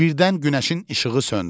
Birdən günəşin işığı söndü.